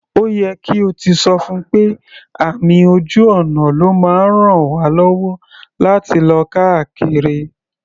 Ó yẹ kí o ti sọ fún pé àmì ojú ọ̀nà ló máa ń raln wá lọ́wọ́ láti lọ káàkiri.